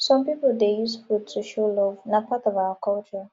some pipo dey use food to show love na part of our culture